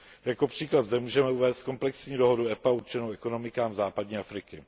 Jako příklad zde můžeme uvést komplexní dohodu EPA určenou ekonomikám západní Afriky.